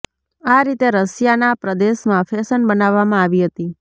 આ રીતે રશિયાના પ્રદેશમાં ફેશન બનાવવામાં આવી હતી